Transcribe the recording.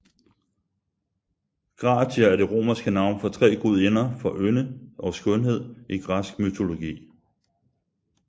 Gratier er det romerske navn for tre gudinder for ynde og skønhed i græsk mytologi